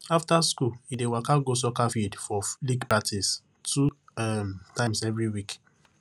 afta school e dey waka go soccer field for league practice two um times every week